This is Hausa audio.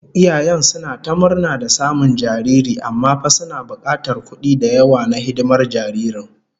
Iyayen suna ta murna da samun jariri, amma fa suna bukatar kudi da yawa na hidimar jaririn